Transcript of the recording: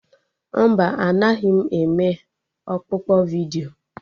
Mba, anaghị m eme ọkpụkpọ vidiyo